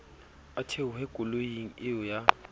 a theohe koloing eo ya